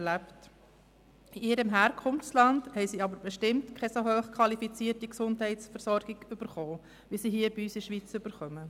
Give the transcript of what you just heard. In ihrem Herkunftsland hat sie jedoch bestimmt keine so hoch qualifizierte Gesundheitsversorgung erhalten, wie sie sie hier in der Schweiz erhält.